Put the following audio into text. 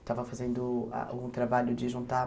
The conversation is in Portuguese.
Estava fazendo ah um trabalho de juntar